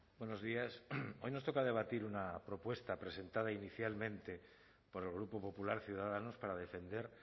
buenos días hoy nos toca debatir una propuesta presentada inicialmente por el grupo popular ciudadanos para defender